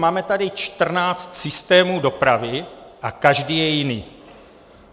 Máme tady 14 systémů dopravy a každý je jiný.